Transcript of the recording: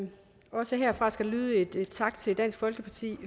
det også herfra skal der lyde en tak til dansk folkeparti